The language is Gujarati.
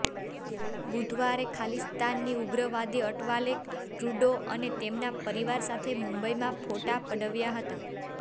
બુધવારે ખાલિસ્તાની ઉગ્રવાદી અટવાલે ટ્રુડો અને તેમના પરિવાર સાથે મુંબઇમાં ફોટા પડાવ્યા હતા